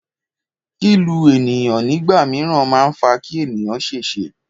Kílù ènìyàn nígbà míràn a ma fa kí ènìyàn ṣèṣe